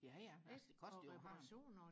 ja ja altså det koster jo og have